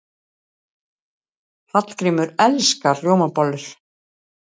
Hallgrímur elskar rjómabollur.